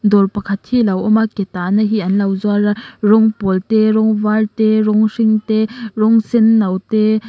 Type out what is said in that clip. dawr pakhat hi lo awm a ke tahna hi anlo zuar a rawng pawl te rawng var te rawng hring te rawng senno te--